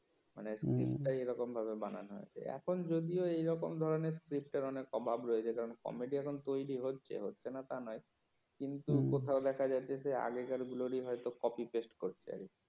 মানে script টাই এমনভাবে বানানো হয়েছে এখন যদিও এরকম ধরনের script অনেক অভাব রয়েছে কারন কমেডি এখন তৈরি হচ্ছে, হচ্ছে না তা নয় কিন্তু কোথাও দেখা যাচ্ছে যে আগেরকার গুলোরই হয়তো কপি পেস্ট করছে